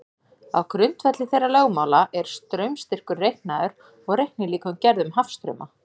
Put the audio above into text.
Á grundvelli þeirra lögmála er straumstyrkur reiknaður og reiknilíkön gerð um hafstrauma.